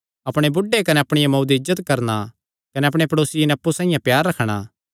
अपणे बुढ़े दी कने अपणिया मांऊ दी इज्जत करणा कने अपणे प्ड़ेसिये नैं अप्पु साइआं प्यार रखणा